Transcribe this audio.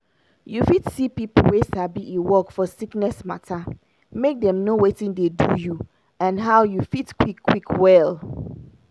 you fit see people wey sabi e work for sickness matter make dem know watin dey do you and how you fit quick quick well.